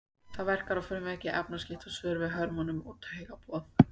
Það verkar á frumuveggi, efnaskipti og svörun við hormónum og á taugaboð.